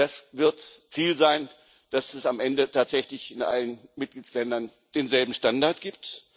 Das Ziel wird sein, dass es am Ende tatsächlich in allen Mitgliedstaaten denselben Standard gibt.